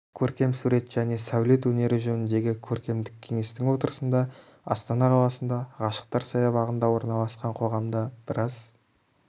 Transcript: көркем сурет және сәулет өнері жөніндегі көркемдік кеңестің отырысында астана қаласында ғашықтар саябағында орналасқан қоғамда біраз